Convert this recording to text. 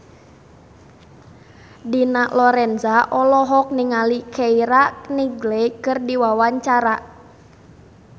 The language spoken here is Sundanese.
Dina Lorenza olohok ningali Keira Knightley keur diwawancara